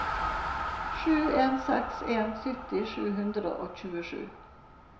sju en seks en sytti sju hundre og tjuesju